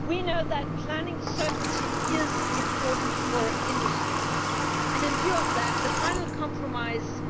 We know that planning certainty is important for industry and, in view of that, the final compromise